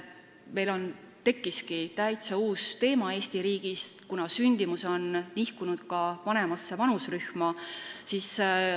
Meil on Eestis tekkinud täiesti uus teema, kuna sünnitamine on nihkunud ka vanemasse vanuserühma.